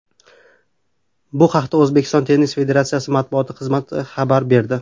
Bu haqda O‘zbekiston tennis federatsiyasi matbuot xizmati xabar berdi .